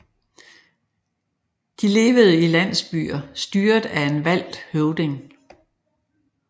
De levede i landsbyer styret af en valgt høvding